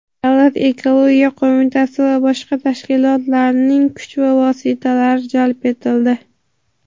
Davlat ekologiya qo‘mitasi va boshqa tashkilotlarning kuch va vositalari jalb etildi.